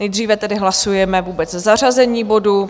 Nejdříve tedy hlasujeme vůbec zařazení bodu.